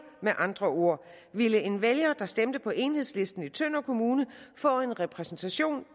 med andre ord ville en vælger der stemte på enhedslisten i tønder kommune få en repræsentation